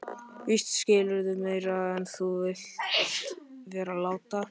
Víst skilurðu meira en þú vilt vera láta.